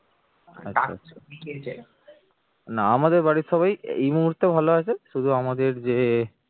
না আমাদের বাড়ির সবাই এই মুহূর্তে ভালো আছে শুধু আমাদের যে